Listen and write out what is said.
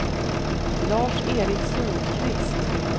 Lars-Erik Sundqvist